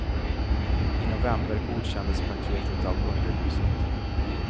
I november godkändes paketet av underhuset.